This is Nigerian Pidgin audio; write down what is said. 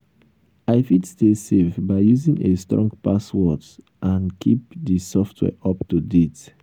i fit stay safe by using a strong passwords and keep di software up to date.